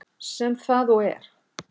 Sem það og er.